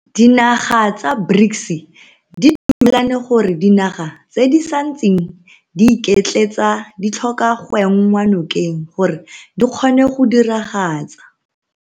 Dinaga tsa BRICS di dumelane gore dinaga tse di santseng di iketletsa di tlhoka go enngwa nokeng gore di kgone go diragatsa.